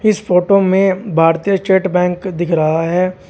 इस फोटो में भारतीय स्टेट बैंक दिख रहा है।